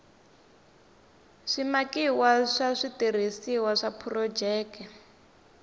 swimakiwa swa switirhisiwa swa phurojeke